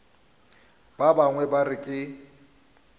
ba bangwe ba re ke